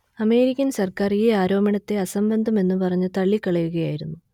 American സർക്കാർ ഈ ആരോപണത്തെ അസംബന്ധം എന്നു പറഞ്ഞു തള്ളിക്കളയുകയായിരുന്നു